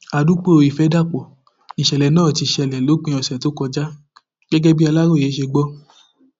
àdúgbò ìfẹdàpọ nìṣẹlẹ náà ti ṣẹlẹ lópin ọsẹ tó kọjá gẹgẹ bí aláròye ṣe gbọ